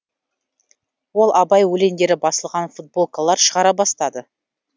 ол абай өлеңдері басылған футболкалар шығара бастады